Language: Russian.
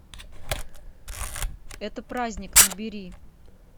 это праздник набери